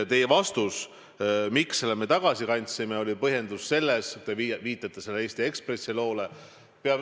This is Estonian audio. Teie vastus ja põhjendus sellele, miks me selle tagasi kandsime, on Eesti Ekspressi lugu.